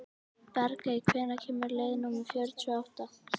Bergey, hvenær kemur leið númer fjörutíu og átta?